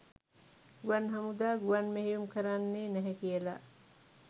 ගුවන් හමුදා ගුවන් මෙහෙයුම් කරන්නේ නැහැ කියලා.